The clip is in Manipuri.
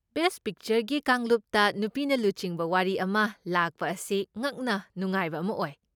ꯕꯦꯁ꯭ꯠ ꯄꯤꯛꯆꯔꯒꯤ ꯀꯥꯡꯂꯨꯞꯇ ꯅꯨꯄꯤꯅ ꯂꯨꯆꯤꯡꯕ ꯋꯥꯔꯤ ꯑꯃ ꯂꯥꯛꯄ ꯑꯁꯤ ꯉꯛꯅ ꯅꯨꯡꯉꯥꯏꯕ ꯑꯃ ꯑꯣꯏ꯫